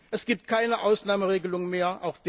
Es gibt keine Ausnahmeregelungen mehr